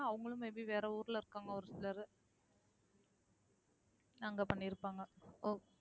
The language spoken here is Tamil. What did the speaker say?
அவங்களும் may be வேற ஊர்ல இருக்காங்க ஒரு சிலரு அங்க பண்ணியிருப்பாங்க